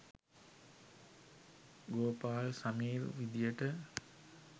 Gopal Sameer විධියට